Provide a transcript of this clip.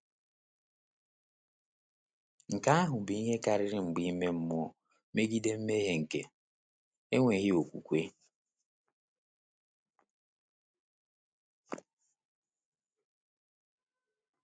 Nke ha bụ ihe karịrị mgba ime mmụọ megide mmehie nke enweghị okwukwe.